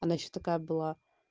она что такая была